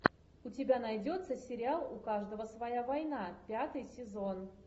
у тебя найдется сериал у каждого своя война пятый сезон